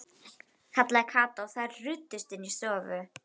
kallaði Kata og þær ruddust inn í stofu.